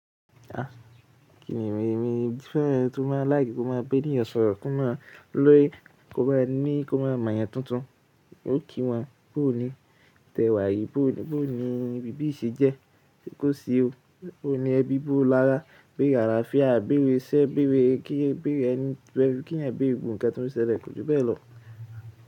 Kìní mi, èmi fẹ́ tó má like kó má b'eníyàn sọ̀rọ̀, kó má lòyí, kó má ní, kó má mọ̀'yàn tuntun. Ó kí wọn, bó ni tẹ̀wá yíi, bó ni, bó ni bíbí ṣe jẹ́, ṣe kó sí o, bó ni ẹbí bó lára, bére alafía, béèrè iṣẹ, béèrè kí, béèrè ẹni to ye k'eyan béèrè gbogbo ǹnkan tó ń ṣẹlẹ̀, kò ju bẹ́ẹ̀ lọ̀.